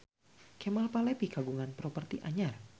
Kemal Palevi kagungan properti anyar